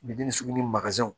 Biden ni sugu ni makazɛnw